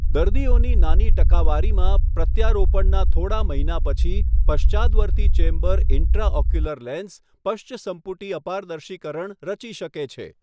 દર્દીઓની નાની ટકાવારીમાં, પ્રત્યારોપણનાં થોડા મહિના પછી પશ્ચાદવર્તી ચેમ્બર ઇન્ટ્રાઓક્યુલર લેન્સ પશ્ચસંપુટી અપારદર્શીકરણ રચી શકે છે.